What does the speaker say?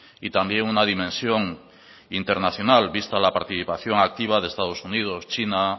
y también una dimensión internacional vista la participación activa de estados unidos china